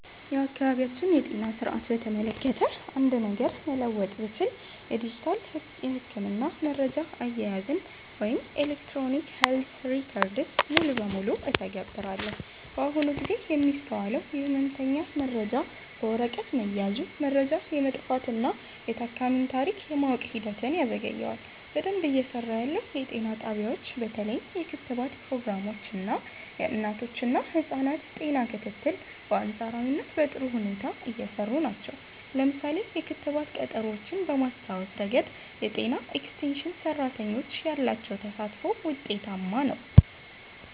የአካባቢያችንን የጤና ሥርዓት በተመለከተ አንድ ነገር መለወጥ ብችል፣ የዲጂታል የሕክምና መረጃ አያያዝን (Electronic Health Records) ሙሉ በሙሉ እተገብራለሁ። በአሁኑ ጊዜ የሚስተዋለው የሕመምተኛ መረጃ በወረቀት መያዙ፣ መረጃ የመጥፋትና የታካሚን ታሪክ የማወቅ ሂደትን ያዘገየዋል። በደንብ እየሰራ ያለው፦ የጤና ጣቢያዎች በተለይም የክትባት ፕሮግራሞች እና የእናቶችና ህፃናት ጤና ክትትል በአንፃራዊነት በጥሩ ሁኔታ እየሰሩ ናቸው። ለምሳሌ፣ የክትባት ቀጠሮዎችን በማስታወስ ረገድ የጤና ኤክስቴንሽን ሰራተኞች ያላቸው ተሳትፎ ውጤታማ ነው።